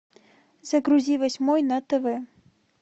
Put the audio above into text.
загрузи восьмой на тв